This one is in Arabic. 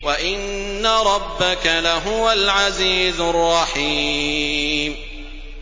وَإِنَّ رَبَّكَ لَهُوَ الْعَزِيزُ الرَّحِيمُ